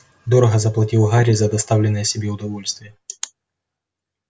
дорого заплатил гарри за доставленное себе удовольствие